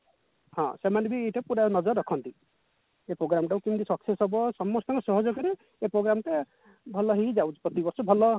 ହଁ ସେମାନେ ବି ଏଇଟା ପୁରା ନଜର ରଖନ୍ତି ଏଇ program ଟାକୁ କେମିତି success ହବ ସମସ୍ତଙ୍କ ସହଯୋଗରେ ଏଇ program ଟା ଭଲ ହେଇ ଯାଉଛି ପ୍ରତିବର୍ଷ ଭଲ